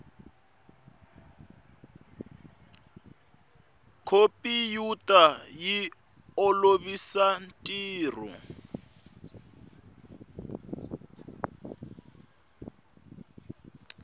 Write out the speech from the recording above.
khompiyuta yi olovisa ntirho